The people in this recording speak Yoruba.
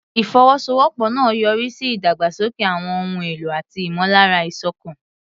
Ìfọwọ́sowọ́pọ̀ náà yọrí sí ìdàgbàsókè àwọn ohun èlò àti ìmọ̀lára ìṣọ̀kan.